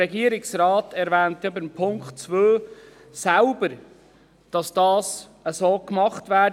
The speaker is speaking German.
Der Regierungsrat erwähnt ja zum Punkt 2 selbst, dass das so gemacht werde.